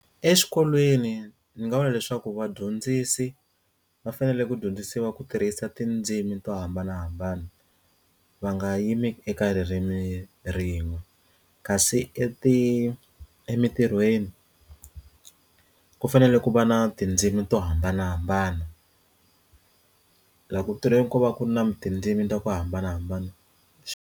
Exikolweni ndzi nga vula leswaku vadyondzisi va fanele ku dyondzisiwa ku tirhisa tindzimi to hambanahambana va nga yimi eka ririmi rin'we kasi eti emintirhweni ku fanele ku va na tindzimi to hambanahambana laha ku tirheni ko va ku ri na tindzimi ta ku hambanahambana.